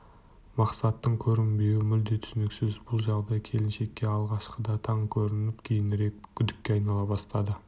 мақсаттың көрінбеуі мүлде түсініксіз бұл жағдай келіншекке алғашқыда таң көрініп кейінірек күдікке айнала бастады